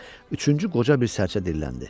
üçüncü qoca bir sərcə dilləndi.